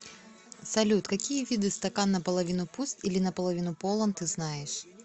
салют какие виды стакан наполовину пуст или наполовину полон ты знаешь